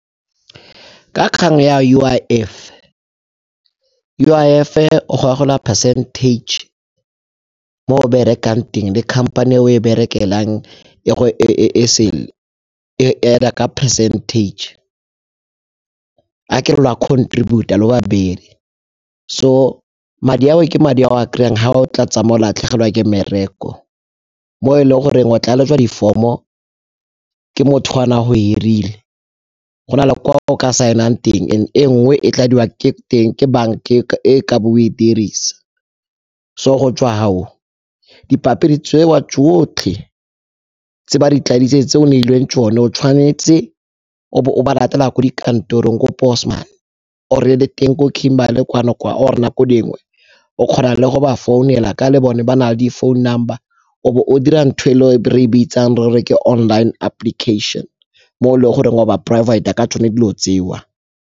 Ka kgang ya U_I_F, U_I_F-e e o gogola percentage mo o berekang teng le khamphane e o e berekelang e add-a ka percentage. Ha ke re lo a contribute-a le babedi, so madi ao ke madi a o a kry-ang ha o tlatsa mo o latlhegelwa ke mmereko mo e leng goreng o tlaletswa di-form-o ke motho o ne a go hirile, go na le kwa o ka saenang teng e nngwe e tladiwa ke banka e ka bo o e dirisa. So go tswa hao dipampiri tseo tsotlhe tse ba di tladitseng tse o neilweng tsone, tshwanetse o be o ba latela ko dikantorong ko or-e le teng ko Kimberley kwano kwa or-e nako dingwe o kgona le go ba founela ka le bone ba na le di-phone number o be o dira ntho e re e bitsang re re ke online application mo e le goreng wa ba provide-a ka tsone dilo tseo.